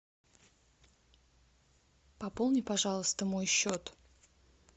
пополни пожалуйста мой счет